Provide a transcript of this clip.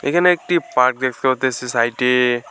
এখানে একটি পার্ক দেখা সাইটে ।